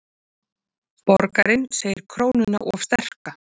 Borgarinn segir krónuna of sterka